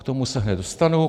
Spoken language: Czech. K tomu se hned dostanu.